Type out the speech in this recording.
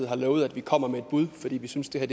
har lovet at vi kommer med et bud fordi vi synes det her